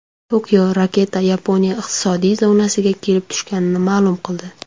Tokio raketa Yaponiya iqtisodiy zonasiga kelib tushganini ma’lum qildi.